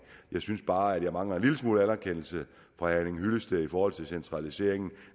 jeg synes bare at jeg mangler en lille smule anerkendelse fra herre henning hyllested i forhold til centraliseringen